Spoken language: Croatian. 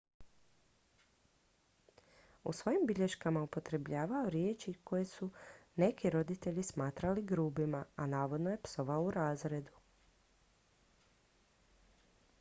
u svojim je bilješkama upotrebljavao riječi koje su neki roditelji smatrali grubima a navodno je psovao u razredu